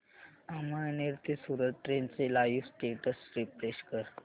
अमळनेर ते सूरत ट्रेन चे live status refresh कर